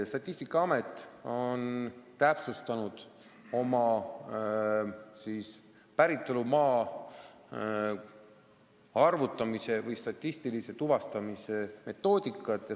Statistikaamet on täpsustanud oma päritolumaa statistilise tuvastamise metoodikat.